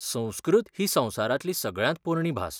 संस्कृत ही संवसारांतली सगळ्यांत पोरणी भास.